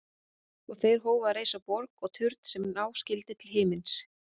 Og þeir hófu að reisa borg og turn sem ná skyldi til himins.